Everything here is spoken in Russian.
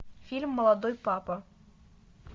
фильм молодой папа